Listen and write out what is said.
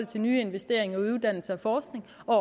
til nye investeringer i uddannelse og forskning og